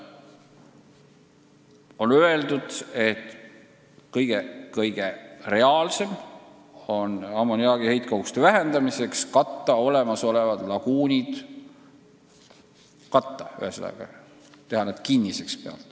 On öeldud, et kõige reaalsem on ammoniaagi heitkoguste vähendamiseks olemasolevad laguunid katta ehk siis teha need pealt kinniseks.